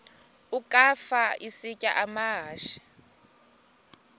ukafa isitya amahashe